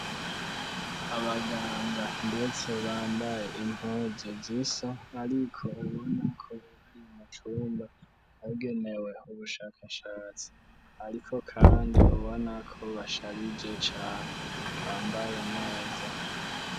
Abaganga ndetse bambaye impuzu zisa, ariko ubona ko urari mucumba bagenewe ubushakashatsi, ariko, kandi ubona ko basharije cane bambaye neza.